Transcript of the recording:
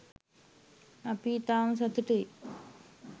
අපි ඉතාම සතුටුයි